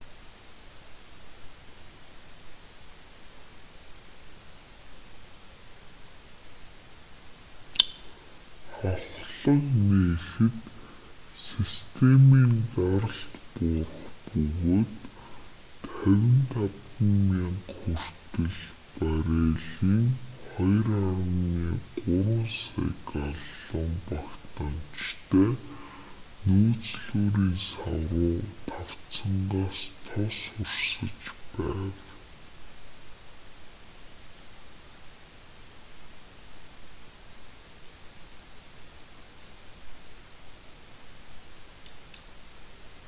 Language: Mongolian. хавхлага нээхэд системийн даралт буурах бөгөөд 55,000 хүртэл баррелийн 2,3 сая галлон багтаамжтай нөөцлүүрийн сав руу тавцангаас тос урсаж байв